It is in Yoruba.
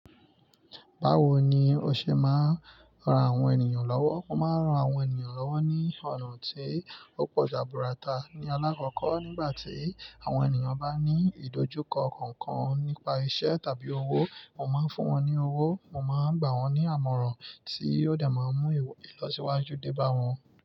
Báwo ni o ṣe máa ń ran àwọn ènìyàn lọ́wọ́? Mo máa ń ran àwọn ènìyàn lọ́wọ́ ní ọ̀nà tí ó pọ̀ jaburata ní alákọ́kọ́ nígbà tí àwọn ènìyàn bá ní ìdojúkọ kankan nípa iṣẹ́ tàbí owó. Mo máa ń fún wọn ní owó, mo máa ń gbà wọ́n ní àmọ̀ràn tí yóò dẹ̀ máa mú ìlọsíwájú dé bá wọn.